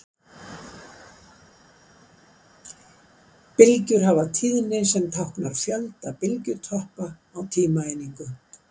Bylgjur hafa tíðni sem táknar fjölda bylgjutoppa á tímaeiningu.